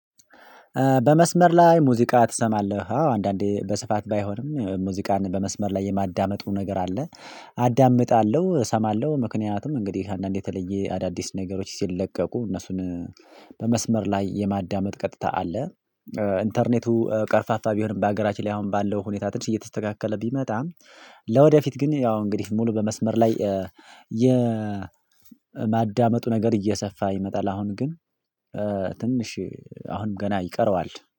በመስመር ላይ ሙዚቃ ትሰማለህ አዎ አንዳንዴ በስፋት ባይሆንም ሙዚቃን በመስመር ላይ የማዳመጡ ነገር አለ። አዳምጣለሁ እሰማለሁ ምክንያቱም እንግዲህ አንዳንዴ የተለየ አዳዲስ ነገሮች ሲለቀቁ እነሱን በመስመር ላይ የማዳመጥ ቀጥታ አለ። ኢንተርኔቱ ቀርፋፋ ቢሆንም በሀገራችን ላይ አሁን ባለው ሁኔታ ትንሽ እየተስተካከለ ቢመጣም። ለወደፊት ግን ያው እንግዲህ ሙሉ በመስመር ላይ የ የማዳመጡ ነገር እየሰፋ ይመጣል አሁን ግን። ትንሽ አሁንም ገና ይቀረዋል